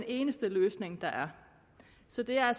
eneste løsning der er så det er